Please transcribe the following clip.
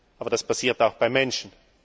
Aber das passiert auch beim Menschen.